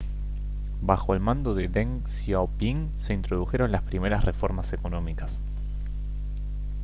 bajo el mando de deng xiaoping se introdujeron las primeras reformas económicas